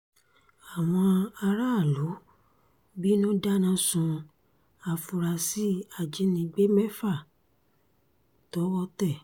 àwọn aráàlú bínú dáná sun àfurasí ajínigbé mẹ́fà tọwọ́ tẹ̀